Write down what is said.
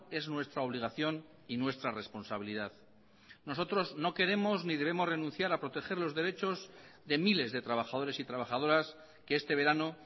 es nuestra obligación y nuestra responsabilidad nosotros no queremos ni debemos renunciar a proteger los derechos de miles de trabajadores y trabajadoras que este verano